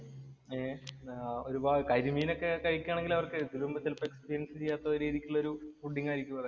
ഏർ ഒരുപാ കരിമീന്‍ ഒക്കെ കഴിക്കുകയാണെങ്കില്‍ അവര്‍ക്ക് ഇതിനു മുമ്പ് ചെലപ്പോ എക്സ്പീരിയന്‍സ് ചെയ്യാത്ത രീതിക്കുള്ളൊരു ഫുഡിങ്ങ് ആയിരിക്കും അതൊക്കെ.